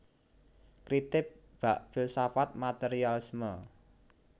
Kritik bab filsafat materialisme